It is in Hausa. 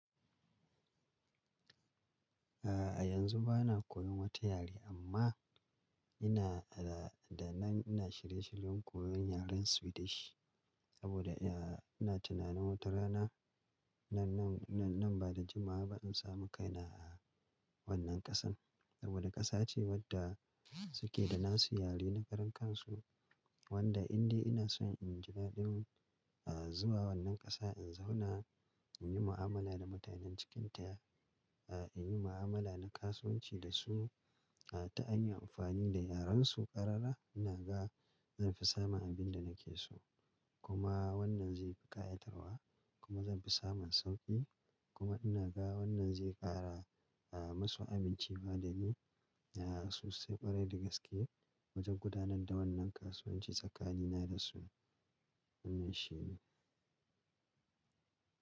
A'a yanzu ba na koyan wata yare amma ina da, da nan ina shirye-shiryen koyan yaren Swedish saboda ina tunanin wata rana nan, nan, nan ba da jimawa ba in samu kaina a wannan ƙasan saboda ƙasa ce wadda suke da nasu yare na karan kansu wanda indai ina so in jira ɗin zuwa wannan ƙasa in zauna in yi mu'amala da mutanen cikinta, in yi mu'amala na kasuwanci da su ta har amfani da yaren su ƙarara ina ga zan fi samun abin da nake so kuma wannan zai fi ƙayatarwa kuma zan fi samun sauƙi kuma ina ga wannan zai ƙara musu amincewa dani a sosai ƙwarai da gaske wajen gudanar da wannan kasuwanci tsakanina da su wannan shi ne.